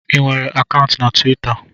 Ị nwere akaụntụ na Twita?